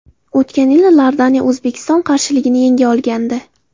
O‘tgan yili Iordaniya O‘zbekiston qarshiligini yenga olgandi.